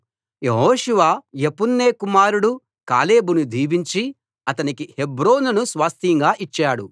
యెహోషువ యెఫున్నె కుమారుడు కాలేబును దీవించి అతనికి హెబ్రోనును స్వాస్థ్యంగా ఇచ్చాడు